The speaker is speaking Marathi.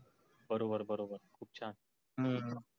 बरोबर बरोबर, खूप छान हम्म